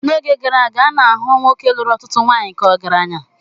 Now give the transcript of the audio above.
N'oge gara aga, a na-ahụ nwoke lụrụ ọtụtụ nwanyị ka ọgaranya.